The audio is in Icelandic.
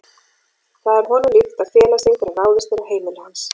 Það er honum líkt að fela sig þegar ráðist er á heimili hans.